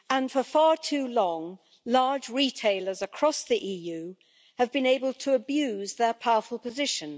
For far too long, large retailers across the EU have been able to abuse their powerful position.